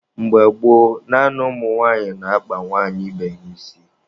Mgbe gboo, naanị ụmụ nwaanyị na-akpa nwaanyị ibe ha isi.